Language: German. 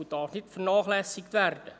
Sie darf nicht vernachlässigt werden.